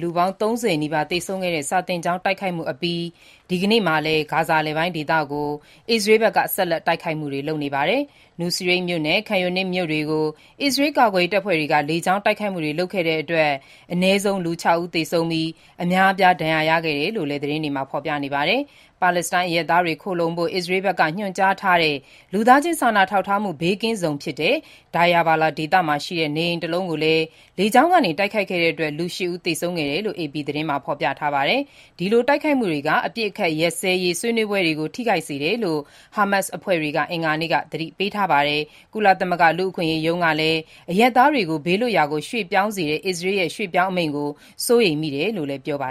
လူပေါင်း ၃၀ နီးပါးသေဆုံးခဲ့တဲ့ မနေ့က စာသင်ကျောင်းတိုက်ခိုက်ခံရမှုအပြီး ထပ်မံ တိုက်ခိုက်တာလည်း ဖြစ်ပါတယ်။ Nuseirat မြို့နဲ့ Khan Younis မြို့တွေကို အစ္စရေးတပ်ဖွဲ့တွေက လေကြောင်း တိုက်ခိုက်မှုတွေ လုပ်ခဲ့တဲ့အတွက် အနည်းဆုံး လူ ၆ ဦး သေဆုံးပြီး အများအပြား ဒဏ်ရာ ရရှိခဲ့တယ်လို့ သတင်းတွေမှာ ဖော်ပြနေပါတယ်။ ပါလက်စတိုင်း အရပ်သားတွေခိုလှုံဖို့ အစ္စရေးဘက်က ညွန်ကြားထားတဲ့ လူသားချင်းစာနာ ထောက်ထားမှု ဘေးကင်းဇုန်ဖြစ်တဲ့ Deir al-Balah ဒေသမှာရှိတဲ့ နေအိမ်တလုံးကို လေကြောင်းကနေ တိုက်ခိုက်ခဲ့တဲ့အတွက် လူ ၈ ဦး သေဆုံးခဲ့တယ်လို့ AP သတင်းမှာ ဖော်ပြထားပါတယ်။ ဒီလို တိုက်ခိုက်မှုတွေက အပစ်အခတ်ရပ်စဲရေး ဆွေးနွေးပွဲတွေကို ထိခိုက်စေတယ်လို့ ဟာမတ်စ်အဖွဲ့က အင်္ဂါနေ့က သတိပေးထားပါတယ်။ ကုလသမဂ္ဂလူ့အခွင့်အရေးရုံးကလည်း အရပ်သားတွေကို ဘေးလွတ်ရာကို ရွှေ့ပြောင်းစေတဲ့ အစ္စရေးရဲ့ ရွှေ့ပြောင်းအမိန့်ကို စိုးရိမ်မိတယ်လို့ ပြောပါ